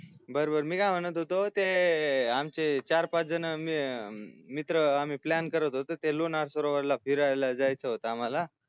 बरं बरं मी काय म्हणत होतो ते आमचे चार पाच जन मित्र आम्ही plan करत होतो ते लोणार सरोवर ला फिरायला जायचं होत आम्हाला